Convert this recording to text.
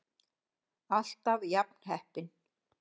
ALLTAF JAFN HEPPINN!